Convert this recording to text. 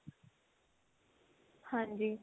ਹਾਂਜੀ